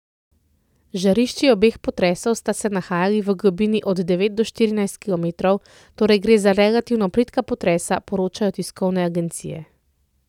Žarišči obeh potresov sta se nahajali v globini od devet do štirinajst kilometrov, torej gre za relativno plitka potresa, poročajo tiskovne agencije.